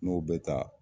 N'o bɛ taa